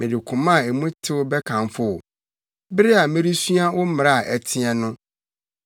Mede koma a mu tew bɛkamfo wo bere a meresua wo mmara a ɛteɛ no.